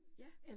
Ja